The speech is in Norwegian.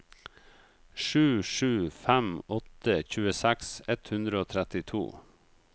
sju sju fem åtte tjueseks ett hundre og trettito